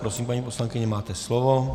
Prosím, paní poslankyně, máte slovo.